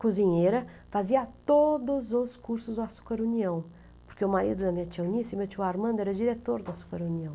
cozinheira fazia todos os cursos do Açúcar União, porque o marido da minha tia Eunice e meu tio Armando era diretor do Açúcar União.